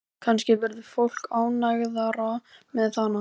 Kannski verður fólk ánægðara með hana.